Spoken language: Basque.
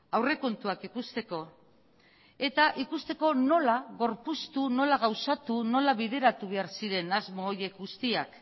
aurrekontuak ikusteko eta ikusteko nola gorpuztu nola gauzatu nola bideratu behar ziren asmo horiek guztiak